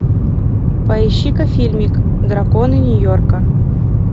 поищи ка фильмик драконы нью йорка